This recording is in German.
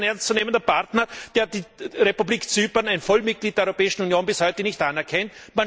Ist das ein ernstzunehmender Partner, der die Republik Zypern, ein Vollmitglied der Europäischen Union, bis heute nicht anerkennt?